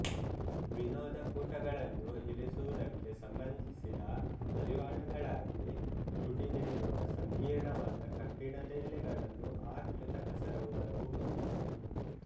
ವಿನೋದಕೂಟಗಳನ್ನು ಇರಿಸುವುದಕ್ಕೆ ಸಂಬಂಧಿಸಿದ ಹರಿವಾಣಗಳಾಗಿ ಪುಟಿದೇಳುವ ಸಂಕೀರ್ಣವಾದ ಕಬ್ಬಿಣದ ಎಲೆಗಳನ್ನು ಆ ಕೃತಕ ಸರೋವರವು ಹೊಂದಿತ್ತು